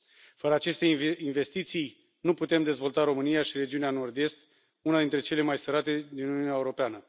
Fără aceste investiții nu putem dezvolta România și regiunea Nord Est, una dintre cele mai sărace din Uniunea Europeană.